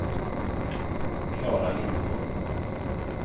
Klara Lindholm